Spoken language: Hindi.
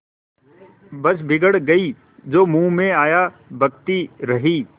बस बिगड़ गयीं जो मुँह में आया बकती रहीं